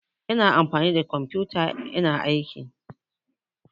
Ina amfani da kumfiyota ina aiki